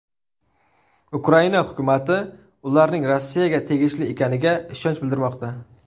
Ukraina hukumati ularning Rossiyaga tegishli ekaniga ishonch bildirmoqda.